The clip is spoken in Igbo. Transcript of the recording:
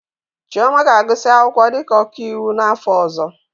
Chioma ga-agụsị akwụkwọ dịka ọkaiwu n'afọ ọzọ.